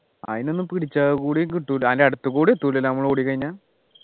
അതിനെന്നും പിടിച്ചാൽ കൂടി കിട്ടൂല അതിൻ്റെ അടുത്തുകൂടി എത്തൂല നമ്മൾ ഓടിക്കഴിഞ്ഞാ